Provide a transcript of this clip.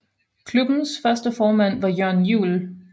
Klubbens første formand var Jørn Juel